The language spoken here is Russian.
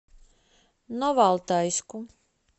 новоалтайску